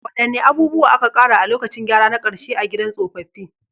Wadanne abubuwa aka ƙara a lokacin gyara na karshe na gidan tsofaffi?